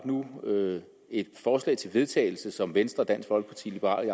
nu fået et forslag til vedtagelse som venstre dansk folkeparti liberal